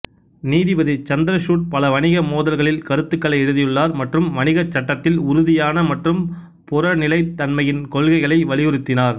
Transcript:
நீதிபதி சந்திரசூட் பல வணிக மோதல்களில் கருத்துக்களை எழுதியுள்ளார் மற்றும் வணிகச் சட்டத்தில் உறுதியான மற்றும் புறநிலைத்தன்மையின் கொள்கைகளை வலியுறுத்தினார்